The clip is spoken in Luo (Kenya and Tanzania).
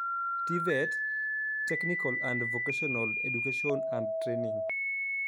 TVET (technical and vocational education and training)